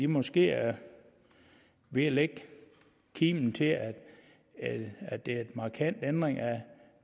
måske er ved at lægge kimen til at det er en markant ændring af